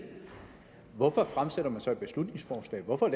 hvorfor fremsætter man så et beslutningsforslag hvorfor